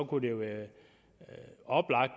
kunne det være oplagt